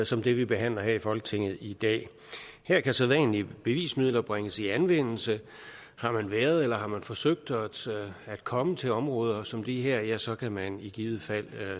som det vi behandler her i folketinget i dag her kan sædvanlige bevismidler bringes i anvendelse har man været i eller forsøgt at komme til områder som de her ja så kan man i givet fald